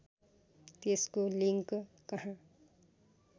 त्यसको लिङ्क कहाँ